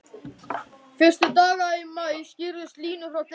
Fyrstu dagana í maí skýrðust línur frá degi til dags.